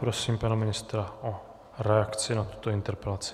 Prosím pana ministra o reakci na tuto interpelaci.